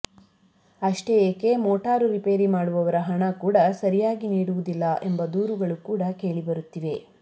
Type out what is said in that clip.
ಅಷ್ಟೇ ಏಕೆ ಮೋಟಾರು ರೀಪೇರಿ ಮಾಡುವವರ ಹಣ ಕೂಡ ಸರಿಯಾಗಿ ನೀಡುವುದಿಲ್ಲ ಎಂಬ ದೂರುಗಳು ಕೂಡ ಕೇಳಿ ಬರುತ್ತಿವೆ